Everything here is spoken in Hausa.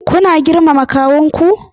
Kuna girmama kawunku?